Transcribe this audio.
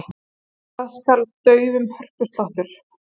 Hvað skal daufum hörpusláttur?